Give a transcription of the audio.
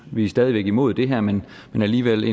vi er stadig væk imod det her men alligevel